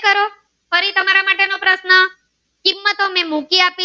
તમે મૂકી આપો